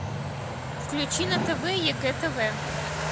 включи на тв егэ тв